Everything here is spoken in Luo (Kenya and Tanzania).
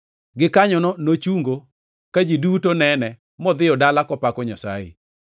Gikanyono nochungo ka ji duto nene modhiyo dala kopako Nyasaye.